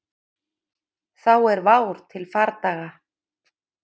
Þá er vár til fardaga.